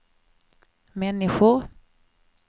människor